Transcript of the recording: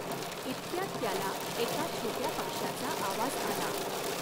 इतक्यात त्याला एका छॊट्या पक्ष्याचा आवाज आला.